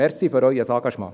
Danke für Ihr Engagement.